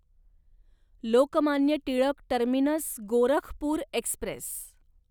Lokmanya Tilak terminus Gorakhpur Express